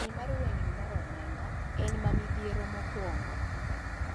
Kidieny mar wengni mar omenda en ma midhiero mokwongo